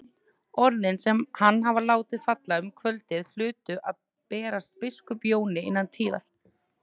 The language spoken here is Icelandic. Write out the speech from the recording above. Orðin sem hann hafði látið falla um kvöldið hlutu að berast biskup Jóni innan tíðar.